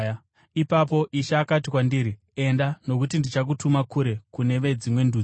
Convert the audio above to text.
“Ipapo Ishe akati kwandiri, ‘Enda, nokuti ndichakutuma kure kune veDzimwe Ndudzi.’ ”